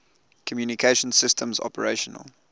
communication systems operational